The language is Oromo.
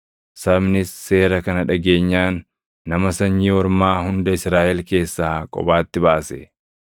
Sabnis seera kana dhageenyaan nama sanyii ormaa hunda Israaʼel keessaa kophaatti baase.